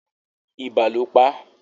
Ibà ló pá